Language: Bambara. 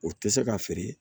O tɛ se ka feere